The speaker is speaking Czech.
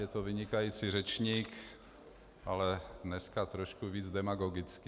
Je to vynikající řečník, ale dneska trošku víc demagogický.